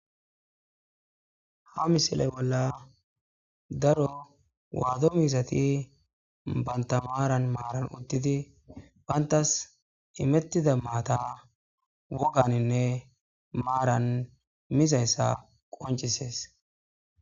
Ha misile bolla daro waado miizati bantta maaran maaran uttidi banttas imetida maata wogganinne maaran mizayssa qonccisees.